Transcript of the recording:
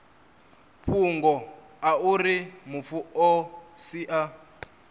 fhungo auri mufu o sia